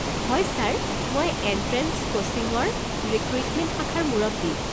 হয় ছাৰ, মই এণ্ট্ৰেঞ্চ কোচিঙৰ ৰিক্ৰুইটমেণ্ট শাখাৰ মুৰব্বী।